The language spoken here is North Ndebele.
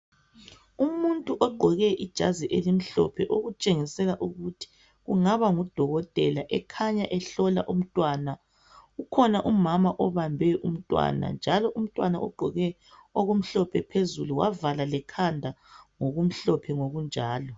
Umuntu ogqoke ijazi elimhlophe okutshengisela ukuthi kungaba ngudokotela ekhanya ehlola umntwana. Kukhona umama obambe umntwana, njalo umntwana ugqoke okumhlophe phezulu wavala lekhanda ngokumhlophe ngokunjalo.